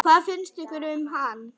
Hvað fannst ykkur um hann?